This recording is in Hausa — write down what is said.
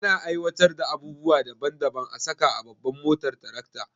Ana aiwatar da abubuwa daban daban a saka a babban motar tarakta